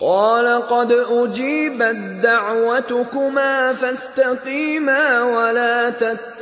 قَالَ قَدْ أُجِيبَت دَّعْوَتُكُمَا فَاسْتَقِيمَا وَلَا تَتَّبِعَانِّ